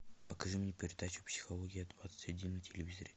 покажи мне передачу психология двадцать один на телевизоре